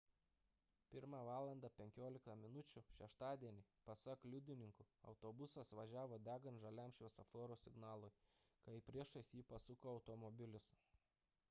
1:15 val šeštadienį pasak liudininkų autobusas važiavo degant žaliam šviesoforo signalui kai priešais jį pasuko automobilis